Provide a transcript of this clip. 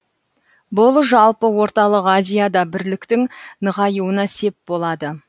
бұл жалпы орталық азияда бірліктің нығаюына сеп болады